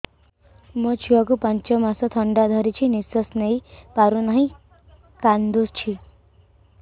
ମୋ ଛୁଆକୁ ପାଞ୍ଚ ମାସ ଥଣ୍ଡା ଧରିଛି ନିଶ୍ୱାସ ନେଇ ପାରୁ ନାହିଁ କାଂଦୁଛି